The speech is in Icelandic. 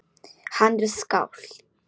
Hann er skáld.